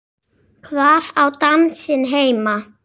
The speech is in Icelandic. Hvar á dansinn heima?